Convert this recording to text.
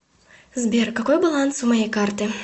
сбер какой баланс у моей карты